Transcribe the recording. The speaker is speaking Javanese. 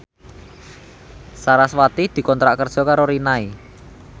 sarasvati dikontrak kerja karo Rinnai